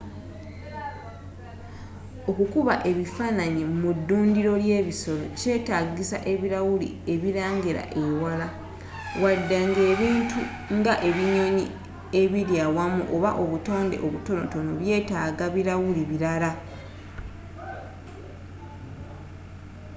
okukuba ebifaananyi mu ddundiro ly'ebisolo kyetaagisa ebirawuli ebirengerera ewala wadde nga ebintu nga ebinyonyi ebiri awamu oba obutonde obutono byetaaga birawuli birala